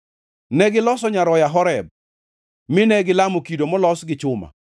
Negiloso nyaroya Horeb, mine gilamo kido molos gi chuma.